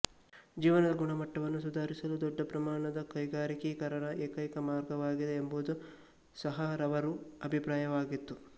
ಜೀವನದ ಗುಣಮಟ್ಟವನ್ನು ಸುಧಾರಿಸಲು ದೊಡ್ಡಪ್ರಮಾಣದ ಕೈಗಾರಿಕೀಕರಣವೇ ಏಕೈಕ ಮಾರ್ಗವಾಗಿದೆ ಎಂಬುದು ಸಹಾರವರು ಅಭಿಪ್ರಾಯವಾಗಿತ್ತು